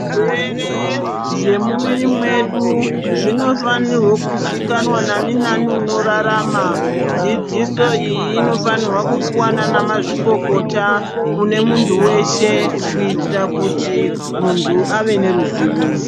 Zvirwere zvemuviri mwedu zvinofanirwe kuzikanwa nani nani unorarama dzidziso iyi inofanira kupuwa nana mazvikokota kune muntu weshe kuitira kuti muntu ave neruzivo.